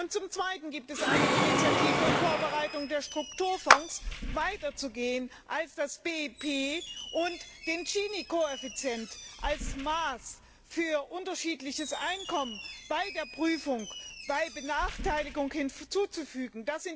Und zum Zweiten gibt es eine Initiative, um in Vorbereitung der Strukturfonds weiterzugehen als das BIP und den Gini Koeffizienten als Maß für unterschiedliches Einkommen bei der Prüfung bei Benachteiligung hinzuzufügen.